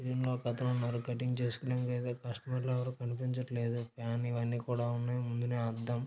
దీనిలో ఒకతనున్నారు కట్టింగ్ చేసుకొనేందుకైతే కస్టమర్లెవరో కనిపించటంలేదు ఫ్యాన్ ఇవన్నీ కూడా ఉన్నాయి ముందునే అద్దం --